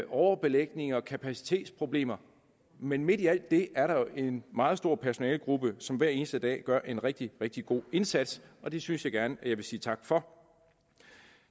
overbelægning og kapacitetsproblemer men midt i alt det er der jo en meget stor personalegruppe som hver eneste dag gør en rigtig rigtig god indsats og det synes jeg gerne jeg vil sige tak for